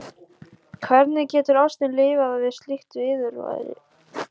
Hvernig getur ástin lifað við slíkt viðurværi?